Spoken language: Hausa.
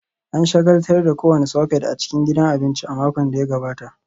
An shagaltar da kowane soket a cikin gidan abinci a makon da ya gabata